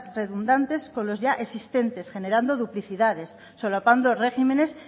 redundantes con las ya existentes generando duplicidades solapando regímenes